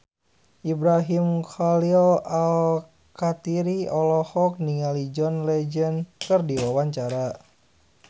Ibrahim Khalil Alkatiri olohok ningali John Legend keur diwawancara